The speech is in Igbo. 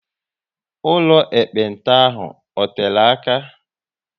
Ụlọ ekpenta ahụ ọ tere aka?